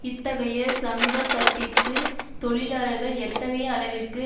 இத்தகைய சமூகத்தட்டிற்கு தொழிலாளர்கள் எத்தகைய அளவிற்கு